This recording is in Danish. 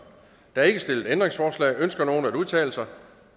der er ikke stillet ændringsforslag ønsker nogen at udtale sig